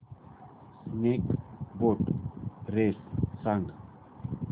snake boat race सांग